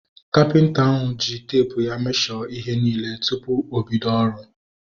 Kapịnta ahu ji teepu ya mesho ihe niile tupu obido ọrụ